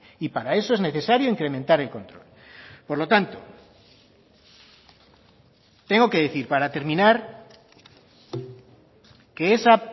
y para eso es necesario incrementar el control por lo tanto tengo que decir para terminar que esa